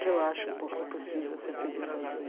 Que eu acho um pouco impossível ser feliz sozinha.